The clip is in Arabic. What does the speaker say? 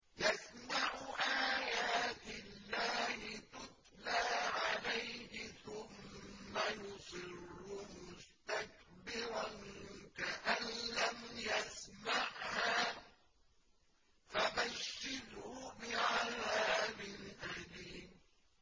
يَسْمَعُ آيَاتِ اللَّهِ تُتْلَىٰ عَلَيْهِ ثُمَّ يُصِرُّ مُسْتَكْبِرًا كَأَن لَّمْ يَسْمَعْهَا ۖ فَبَشِّرْهُ بِعَذَابٍ أَلِيمٍ